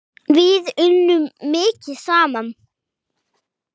Við unnum mikið saman.